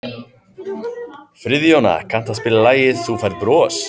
Friðjóna, kanntu að spila lagið „Þú Færð Bros“?